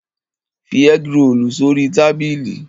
Fi ẹ́grolù sórí tábìlì!